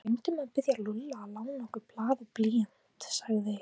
Við gleymdum að biðja Lúlla að lána okkur blað og blýant sagði